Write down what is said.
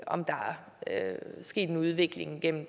om der er sket en udvikling gennem